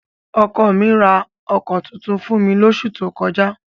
Ọkọ mi ra ọkọ̀ tuntun fún mi lóṣù tó kọjá.